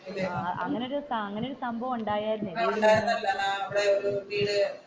അങ്ങനെ ഒരു സംഭവം ഉണ്ടായതല്ലേ